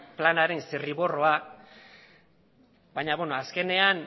planaren zirriborroa baina azkenean